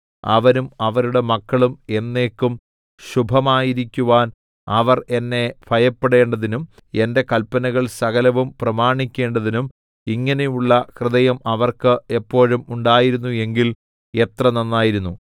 അവരും അവരുടെ മക്കളും എന്നേക്കും ശുഭമായിരിക്കുവാൻ അവർ എന്നെ ഭയപ്പെടേണ്ടതിനും എന്റെ കല്പനകൾ സകലവും പ്രമാണിക്കേണ്ടതിനും ഇങ്ങനെയുള്ള ഹൃദയം അവർക്ക് എപ്പോഴും ഉണ്ടായിരുന്നു എങ്കിൽ എത്ര നന്നായിരുന്നു